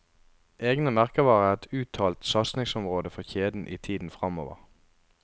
Egne merkevarer er et uttalt satsingsområde for kjeden i tiden framover.